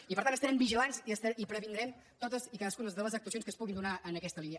i per tant estarem vigilants i previndrem totes i cadascuna de les actuacions que es puguin donar en aquesta línia